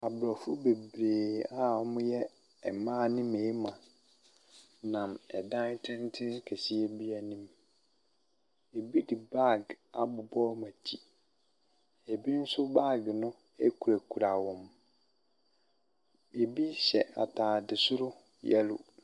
Abrɔfo bebree a ɔmo yɛ mmaa ne mmɛrima nam ɛdan tenten kɛseɛ bi anim. Ebi de baag abobɔ ɔmo akyi. Ebi nso baag no ekora kora wɔn. Ebi hyɛ ataade soro yɛlo.